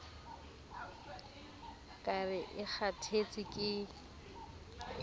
ka re e kgathetse ke